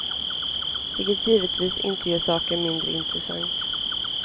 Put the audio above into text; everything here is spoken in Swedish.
Vilket givetvis inte gör saken mindre intressant.